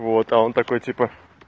вот а он такой типа